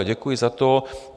Ale děkuji za to.